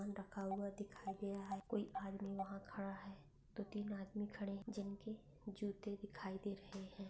सामान रखा हुआ दिखाई दे रहा है कोई आदमी वहा खडा है दोन तीन आदमी खडे है जिनके जुते दिखाई दे रहे है।